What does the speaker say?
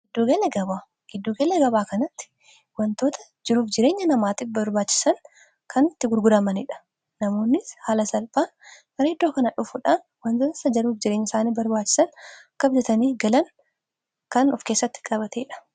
iddugella gabaa kanatti wantoota jiruuf jireenya namaatif barbaachisan kantti gurguramaniidha namoonni haala salphaa kareeddoo kanaa dhufuudhaan wantoota isa jaruuf jireenya isaanii barbaachisan kabjataniif galan kan of keessatti qabateedha